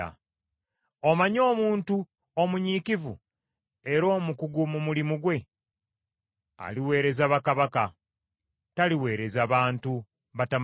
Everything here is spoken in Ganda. Omanyi omuntu omunyiikivu era omukugu mu mulimu gwe? Aliweereza bakabaka; taliweereza bantu batamanyiddwa.